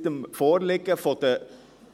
– Seit dem Vorliegen der